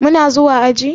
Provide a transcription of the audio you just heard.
Muna zuwa aji?